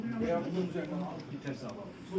Və bu uzun müddət sizə bir hesab almış.